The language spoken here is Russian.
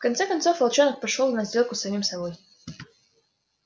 в конце концов волчонок пошёл на сделку с самим собой